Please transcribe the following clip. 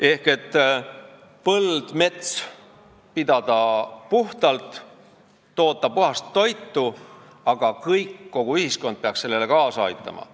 Ehk oleme valmis puhtalt pidama põldu ja metsa ning tootma puhast toitu, aga kõik, kogu ühiskond, peaks sellele kaasa aitama.